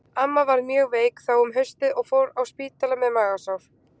Amma varð mjög veik þá um haustið og fór á spítala með magasár.